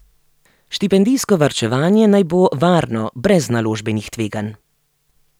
Štipendijsko varčevanje naj bo varno brez naložbenih tveganj.